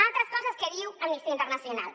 altres coses que diu amnistia internacional